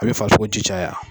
A bi farisogo ji caya.